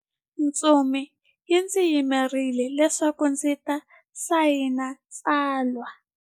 Ntsumi yi ndzi yimerile leswaku ndzi ta sayina tsalwa.